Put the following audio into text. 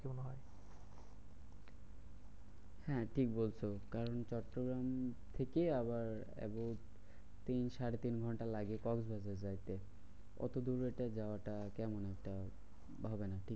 হ্যাঁ ঠিক বলছো। কারণ চট্টগ্রাম থেকে আবার about তিন সাড়ে তিন ঘন্টা লাগে কক্সবাজার যাইতে। অতোদূরে তো যাওয়াটা কেমন একটা হবে না।